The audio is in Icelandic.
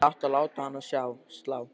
Hefði átt að láta hana slá.